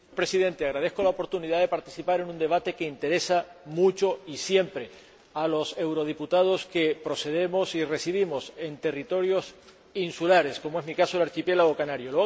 Señor Presidente, agradezco la oportunidad de participar en un debate que interesa mucho y siempre a los eurodiputados que procedemos y residimos en territorios insulares, como es, en mi caso, el archipiélago canario.